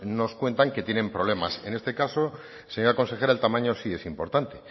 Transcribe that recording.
nos cuentan que tiene problemas en este caso señora consejera el tamaño sí es importante